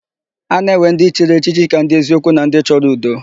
A na-ewe ndị chiri echichi ka ndị eziokwu na ndị chọrọ udo.